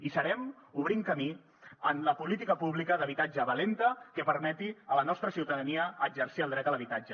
hi serem obrint camí en la política pública d’habitatge valenta que permeti a la nostra ciutadania exercir el dret a l’habitatge